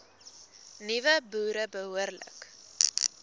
nuwe boere behoorlik